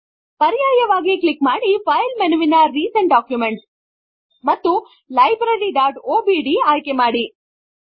ಪರ್ಯಾಯವಾಗಿ ಕ್ಲಿಕ್ ಮಾಡಿ ಫೈಲ್ ಮೆನುವಿನ ರೀಸೇಂಟ್ ಡಾಕ್ಯುಮೆಂಟ್ಸ್ ಮತ್ತು libraryಒಡಿಬಿ ಆಯ್ಕೆಮಾಡಿ